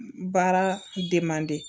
Baara de mandi